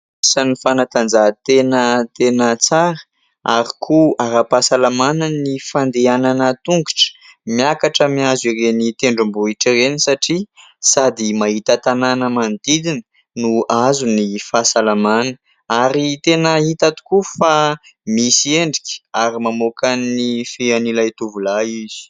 Isan'ny fanatanjahantena tena tsara ary koa ara-pahasalamana ny fandehanana tongotra miakatra miazo ireny tendrombohitra ireny satria sady mahita tanàna manodidina no azo ny fahasalamana ; ary tena hita tokoa fa misy endrika ary mamoaka ny fean'ilay tovolahy izy.